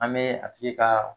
An bɛ a tigi ka